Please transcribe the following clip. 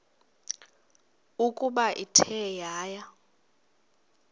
ukuba ithe yaya